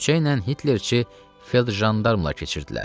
Küçə ilə Hitlerçi feld-jandarmılar keçirdilər.